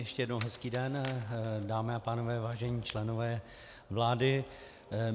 Ještě jednou hezký den, dámy a pánové, vážení členové vlády.